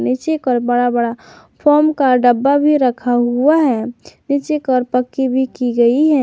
नीचे कर बड़ा बड़ा फॉम का डब्बा भी रखा हुआ है नीचे कर पक्की भी की गई हैं।